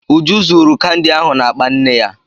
Uju zuuru kandi ahụ n'akpa nne ya.